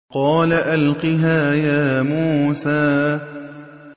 قَالَ أَلْقِهَا يَا مُوسَىٰ